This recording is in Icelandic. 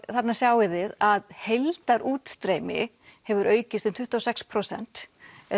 þarna sjáið þið að heildarútstreymi hefur aukist um tuttugu og sex prósent